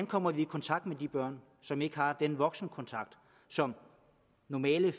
kommer i kontakt med de børn som ikke har den voksenkontakt som normale